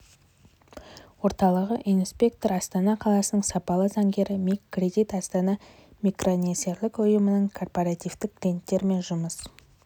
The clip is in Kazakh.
орталығы инспектор астана қаласының сапалы заңгері миг кредит астана микронесиелік ұйымының корпоративтік клиенттер мен жұмыс